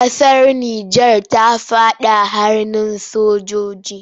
Ƙasar Nijar ta faɗa hannun sojiji.